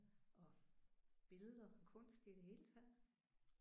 Og billeder og kunst i det hele taget